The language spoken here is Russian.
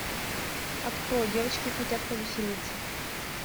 открой девочки хотят повеселиться